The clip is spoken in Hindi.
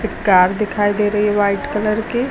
कार दिखाई दे रही है व्हाइट कलर की।